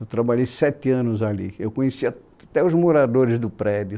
Eu trabalhei sete anos ali, eu conhecia até os moradores do prédio.